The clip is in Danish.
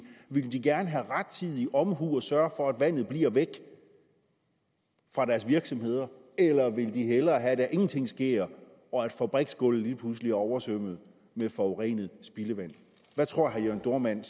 ville de så gerne have rettidig omhu og sørge for at vandet bliver væk fra deres virksomheder eller ville de hellere have at der ingenting sker og at fabriksgulvet lige pludselig er oversvømmet med forurenet spildevand hvad tror herre jørn dohrmann